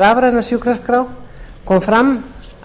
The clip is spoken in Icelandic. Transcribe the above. rafræna sjúkraskrá kom fram